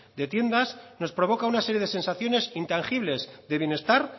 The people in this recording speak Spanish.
de tiendas nos provoca una serie de sensaciones intangibles de bienestar